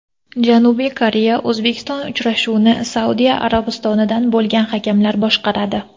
Janubiy Koreya O‘zbekiston uchrashuvini Saudiya Arabistonidan bo‘lgan hakamlar boshqaradi.